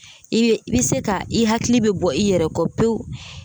I bɛ i bɛ se ka i hakili bɛ bɔ i yɛrɛ kɔ pewu